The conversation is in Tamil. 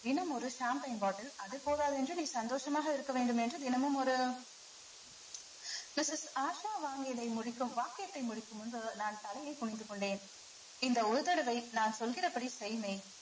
தினம் ஒரு bottle அது போதாது என்று நீ சந்தோஷமாக இருக்க வேண்டும் என்று தினமும் ஒரு missus ஆஷா வாங்கியதை முடிக்கும் வாக்கியத்தை முடிக்கும் முன்பு நான் தலையைக் குனிந்து கொண்டேன் இந்த ஒரு தடவை நான் சொல்கிறபடி செய் மெய்